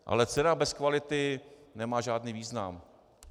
Ale cena bez kvality nemá žádný význam.